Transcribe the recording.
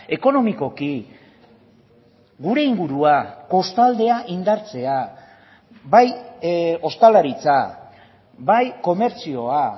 ekonomikoki gure ingurua kostaldea indartzea bai ostalaritza bai komertzioa